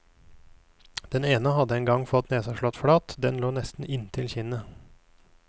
Den ene hadde en gang fått nesa slått flat, den lå nesten inntil kinnet.